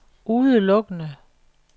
udelukkende